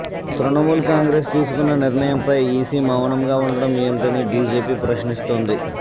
Trinamool Congress తీసుకున్న నిర్ణయంపై EC మౌనంగా ఉండటం ఎంటని బీజేపీ ప్రశ్నిస్తోంది